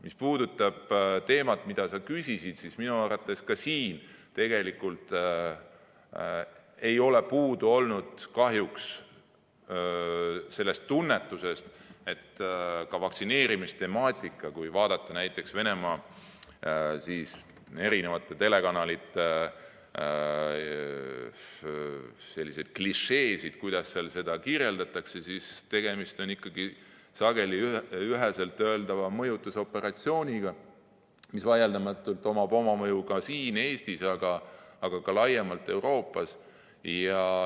Mis puudutab teemat, mille kohta sa küsisid, siis minu arvates ei ole siingi olnud kahjuks puudu sellest tunnetusest, et ka vaktsineerimistemaatika puhul, kui vaadata näiteks Venemaa telekanalite klišeesid, kuidas seda teemat kirjeldatakse, on tegemist ikkagi sageli, üheselt öeldes, mõjutusoperatsiooniga, millel vaieldamatult on mõju siin Eestis, aga ka laiemalt Euroopas.